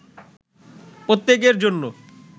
প্রত্যেকের জন্য